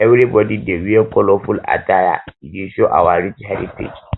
everybody dey wear colorful attire e dey show our rich heritage